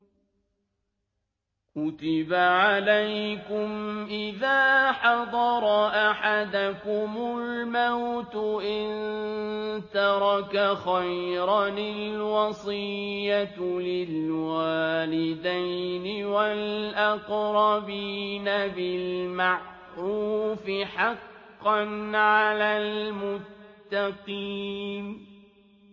كُتِبَ عَلَيْكُمْ إِذَا حَضَرَ أَحَدَكُمُ الْمَوْتُ إِن تَرَكَ خَيْرًا الْوَصِيَّةُ لِلْوَالِدَيْنِ وَالْأَقْرَبِينَ بِالْمَعْرُوفِ ۖ حَقًّا عَلَى الْمُتَّقِينَ